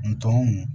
N tɔ